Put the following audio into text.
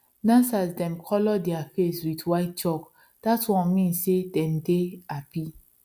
dancers dem colour their face with white chalk that one mean say dem dey happy